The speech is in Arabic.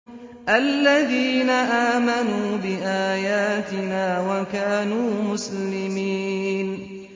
الَّذِينَ آمَنُوا بِآيَاتِنَا وَكَانُوا مُسْلِمِينَ